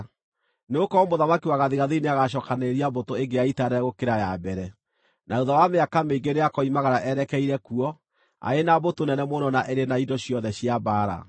Nĩgũkorwo mũthamaki wa gathigathini nĩagacookanĩrĩria mbũtũ ĩngĩ ya ita nene gũkĩra ya mbere; na thuutha wa mĩaka mĩingĩ nĩakoimagara erekeire kuo arĩ na mbũtũ nene mũno na ĩrĩ na indo ciothe cia mbaara.